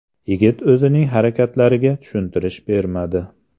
Yigit o‘zining harakatlariga tushuntirish bermadi.